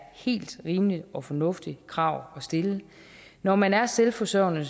helt rimeligt og fornuftigt krav at stille når man er selvforsørgende